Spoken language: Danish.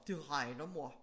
Det regner mor